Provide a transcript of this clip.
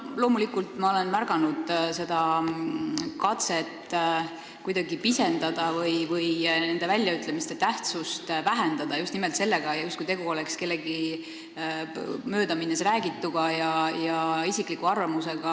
Loomulikult olen ma märganud seda katset neid väljaütlemisi kuidagi pisendada või nende tähtsust vähendada just nimelt sellega, justkui oleks tegu kellegi möödaminnes räägituga ja isikliku arvamusega.